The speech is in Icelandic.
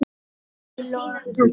Í lokin.